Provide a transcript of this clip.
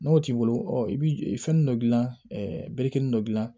N'o t'i bolo i bi fɛnni dɔ gilan berekɛnin dɔ dilan